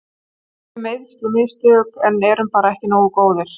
Það voru meiðsli og mistök en við erum bara ekki nógu góðir.